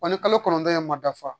Wa ni kalo kɔnɔntɔn in ma dafa